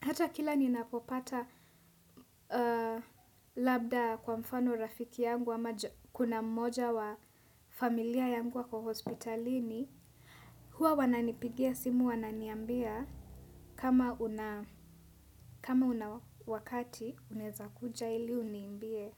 Hata kila ninapopata labda kwa mfano rafiki yangu ama kuna mmoja wa familia yangu akohospitalini. Huwa wananipigia simu wananiambia kama, kama una wakati, unaeza kuja ili uniimbie.